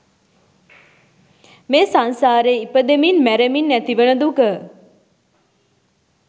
මේ සංසාරේ ඉපදෙමින් මැරෙමින් ඇතිවන දුක